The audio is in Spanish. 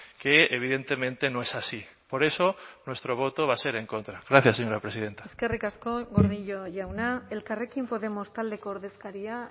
que evidentemente no es así por eso nuestro voto va a ser en contra gracias señora presidenta eskerrik asko gordillo jauna elkarrekin podemos taldeko ordezkaria